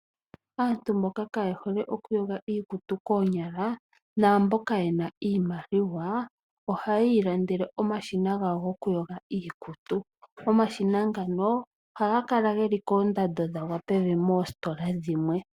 Aantu mboka kaye hole okuyoga iikutu koonyala naamboka ye na iimaliwa, ohaya ilandele omashina gawo gokuyoga iikutu. Omashina ngano ohaga kala geli koondando dhagwa pevi moositola dhimwe.